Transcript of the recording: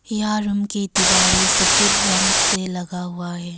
यहां रूम की दीवारें सफेद रंग से लगा हुआ है।